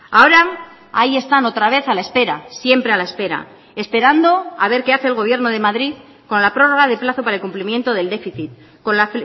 ahora ahí están otra vez a la espera siempre a la espera esperando a ver qué hace el gobierno de madrid con la prórroga de plazo para el cumplimiento del déficit con la